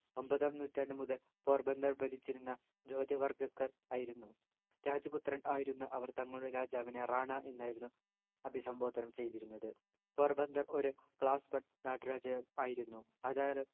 ഒമ്പതാം നൂറ്റാണ്ടു മുതൽ പോർബന്തർ ഭരിച്ചിരുന്ന ജോത്വ വർഗക്കാർ ആയിരുന്നു രാജ പുത്രൻ ആയിരുന്ന അവർ തങ്ങളുടെ രാജാവിനെ റാണാ എന്നായിരുന്നു അഭിസംബോധനം ചെയ്തിരുന്നത് പോർബന്തർ ഒരു class one നാട്ടുരാജ്യം ആയിരുന്നു അതായത്